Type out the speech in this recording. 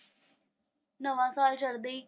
ਨਵਾਂ ਸਾਲ ਚੜ੍ਹਦੇ ਹੀ।